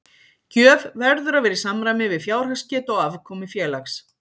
Gjöf verður að vera í samræmi við fjárhagsgetu og afkomu félags.